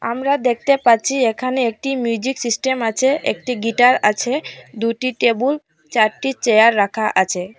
আমরা দেখতে পাচ্ছি এখানে একটি মিউজিক সিস্টেম আছে একটি গিটার আছে দুইটি টেবুল চারটি চেয়ার রাখা আছে।